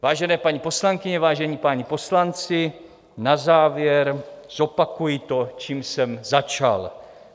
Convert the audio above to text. Vážené paní poslankyně, vážení páni poslanci, na závěr zopakuji to, čím jsem začal.